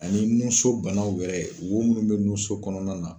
Ani nunso banaw wɛrɛ wo munnu be nunso kɔnɔna na